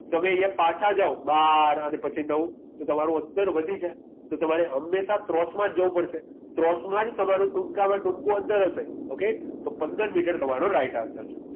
તમે અહીંયા પાછા જાવ બાર અને પછી નવ તો તમારું અંતર વધી જાય તો તમારે હંમેશા ત્રોસમાં જ જવું પડશે ત્રોસમાં જ તમારું ટૂંકામાં ટૂંકુ અંતર હશે okay તો પંદર મીટર તમારો right answer છે